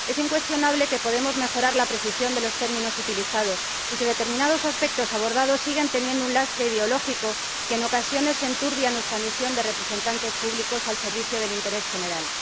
Es incuestionable que podemos mejorar la precisión de los términos utilizados, y que determinados aspectos abordados siguen arrastrando un lastre ideológico que en ocasiones enturbia nuestra misión de representantes públicos al servicio del interés general.